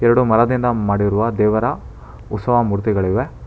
ಎರಡು ಮರದಿಂದ ಮಾಡಿರುವ ದೇವರ ಉತ್ಸವ ಮೂರ್ತಿಗಳಿವೆ.